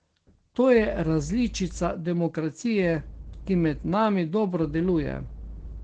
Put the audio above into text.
To je različica demokracije, ki med nami dobro deluje.